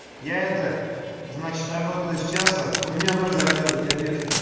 я это значит работаю с час у меня ноль заказов я пеший